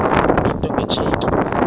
into nge tsheki